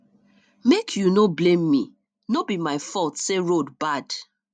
make you no blame me no be my fault say road bad